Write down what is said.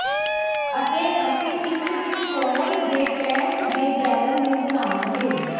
ਅਤੇ ਅਸੀਂ ਇੱਕ ਤਿਕੋਣ ਦੇ ਟੈਂਕ ਦੇ ਬੈਰਲ ਨੂੰ ਬਣਾਵਾਂਗੇ